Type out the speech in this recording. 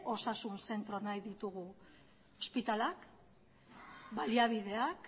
osasun zentro nahi ditugu ospitaleak baliabideak